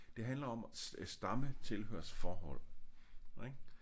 Det handler om stamme tilhørsforhold ik